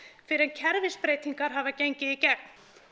fyrr en kerfisbreytingar hafa gengið í gegn